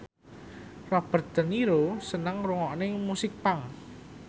Robert de Niro seneng ngrungokne musik punk